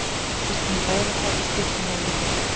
Við skulum ræða það í stuttu máli hér á eftir.